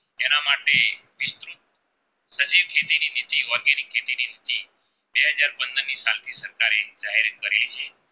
અને જે